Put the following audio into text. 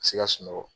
Ka se ka sunɔgɔ